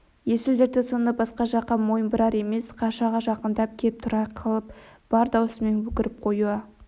есіл-дерті сонда басқа жаққа мойын бұрар емес қашаға жақындап кеп тұра қалып бар даусымен өкіріп қоя